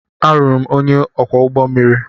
Alụrụ m onye ọkwọ ụgbọ mmiri.